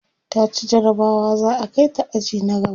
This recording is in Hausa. taci jarabawa za'a Kai ta aji na gaba